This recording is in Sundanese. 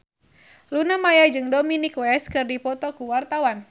Luna Maya jeung Dominic West keur dipoto ku wartawan